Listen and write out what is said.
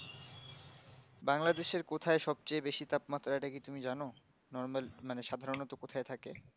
বাংলাদেশের কোথায় সব চেয়ে তাপমাত্রা টা কি তুমি জানো normal মানে সাধারণত কোথায় থাকে